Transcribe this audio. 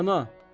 Rəna!